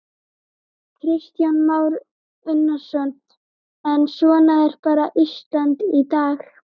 Kristján Már Unnarsson: En svona er bara Ísland í dag?